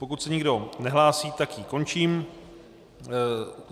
Pokud se nikdo nehlásí, tak ji končím.